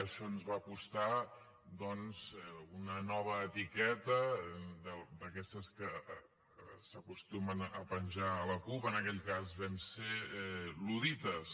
això ens va costar doncs una nova etiqueta d’aquestes que s’acostumen a penjar a la cup en aquell cas vam ser luddites